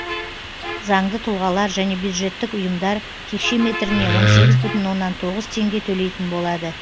заңды тұлғалар және бюджеттік ұйымдар текше метріне он сегіз бүтін оннан тоғыз теңге төлейтін болады